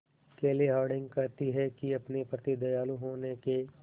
केली हॉर्डिंग कहती हैं कि अपने प्रति दयालु होने के